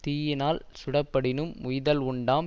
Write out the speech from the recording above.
தீயினால் சுடப்படினும் உய்தல் உண்டாம்